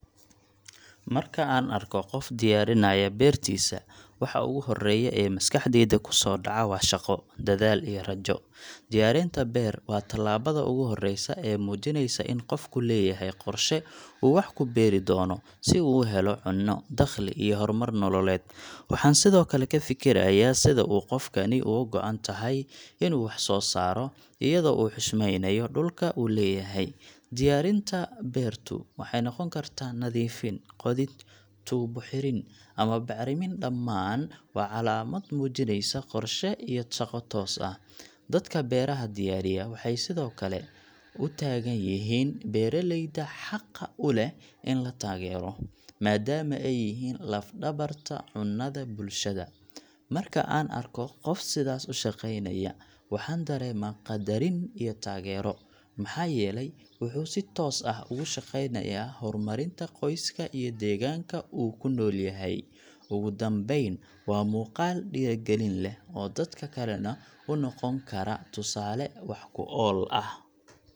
Marka aan arko qof diyaarinaya beertiisa, waxa ugu horreeya ee maskaxdayda ku soo dhaca waa shaqo, dadaal, iyo rajo. Diyaarinta beer waa tallaabada ugu horreysa ee muujinaysa in qofku leeyahay qorshe uu wax ku beeri doono, si uu u helo cunno, dakhli, iyo horumar nololeed. Waxaan sidoo kale ka fikirayaa sida uu qofkani uga go’an yahay inuu wax soo saaro, iyadoo uu xushmeynayo dhulka uu leeyahay. Diyaarinta beertu waxay noqon kartaa nadiifin, qodid, tuubo xirin, ama bacrimin – dhammaan waa calaamad muujinaysa qorshe iyo shaqo toos ah. Dadka beeraha diyaariya waxay sidoo kale u taagan yihiin beeraleyda xaqa u leh in la taageero, maadaama ay yihiin laf-dhabarta cunnada bulshada. Marka aan arko qof sidaas u shaqeynaya, waxaan dareemaa qadarin iyo taageero, maxaa yeelay wuxuu si toos ah ugu shaqaynayaa horumarinta qoyska iyo deegaanka uu ku nool yahay. Ugu dambayn, waa muuqaal dhiirrigelin leh oo dadka kalena u noqon kara tusaale wax-ku-ool ah.